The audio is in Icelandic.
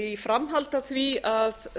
í framhaldi af því að